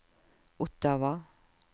Ottawa